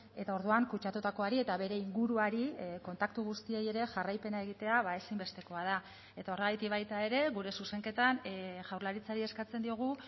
eta orduan kutsatutakoari eta bere inguruari kontaktu guztiei ere jarraipena egitea ezinbestekoa da eta horregatik baita ere gure zuzenketan jaurlaritzari eskatzen diogu